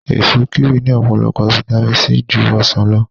Èso kíwì ní ọ̀pọ̀lọpọ̀ fitamíìnì C ju ọsàn lọ